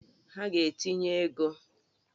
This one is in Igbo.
Ha ga-etinye ego!